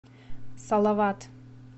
салават